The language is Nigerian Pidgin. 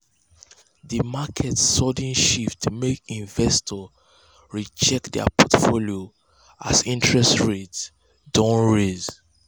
um di market sudden um shift make investors re-check dir portfolios as interest rates don raise.